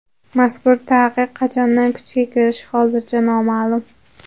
Mazkur taqiq qachondan kuchga kirishi hozircha noma’lum.